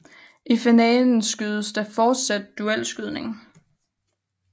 I finalen skydes der fortsat duelskydning